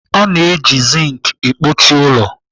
A na-eji zinc ekpuchi ụlọ.